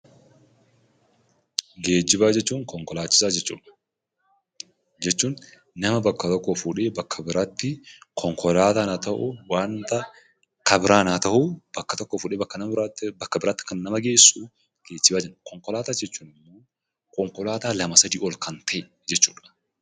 Geejjibaa jechuun konkolaachisaa jechuudha, jechuun nama bakka tokkoo fuudhee bakka biraatti konkolaataa haa ta'u, waanta kan biraan haa ta'u bakka tokkoo fuudhee bakka biraatti kan nama geessu geejjiba jedhama. Konkolaataawwan jechuun immoo konkolaataa lama sadii ol kan ta'e jechuudha.